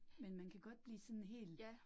Men man kan godt blive sådan hel